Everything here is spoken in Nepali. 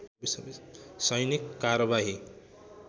सैनिक कारबाही